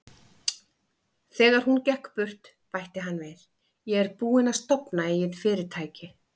Þegar hún gekk burt, bætti hann við: Ég er búinn að stofna eigið fyrirtæki.